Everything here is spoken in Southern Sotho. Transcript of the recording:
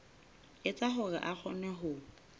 etsa hore a kgone ho